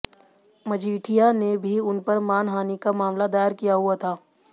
मजीठिया ने भी उन पर मानहानि का मामला दायर किया हुआ था